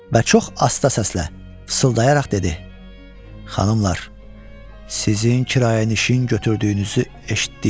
Və çox asta səslə pısıldayaraq dedi: Xanımlar, sizin kirayənişin götürdüyünüzü eşitdik.